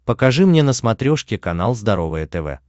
покажи мне на смотрешке канал здоровое тв